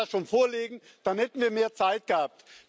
Sie wollte das schon vorlegen, dann hätten wir mehr Zeit gehabt.